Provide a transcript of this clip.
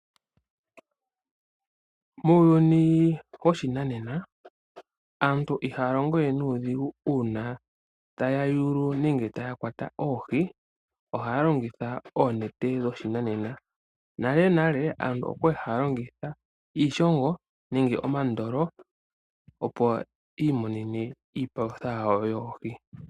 Muuyuni woshinanena aantu ihaya longo we nuudhigu uuna taya yulu nenge taya kwata oohi ohaya longitha oonete dhoshinanena. Nalenale aantu oya li haya longitha iishongo nenge omandolo, opo yi imonene iipalutha yawo yoohi.